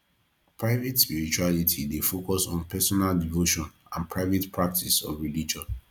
private spirituality dey focus on personal devotion and private practice of religion